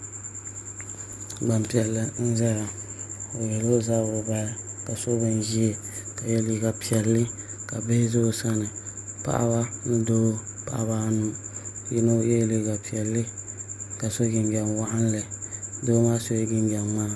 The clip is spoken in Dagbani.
Gbanpiɛli n ʒɛya o yihila o zabiri bahi ka so bin ʒiɛ ka yɛ liiga piɛlli ka bihi ʒɛ o sani paɣaba ni doo paɣaba anu yino yɛla liiga piɛlli ka so jinjɛm waɣanli Doo maa sola jinjɛm ŋmaa